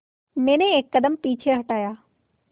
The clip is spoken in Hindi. मैंने एक कदम पीछे हटाया